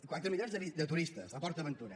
quatre milions de turistes a port aventura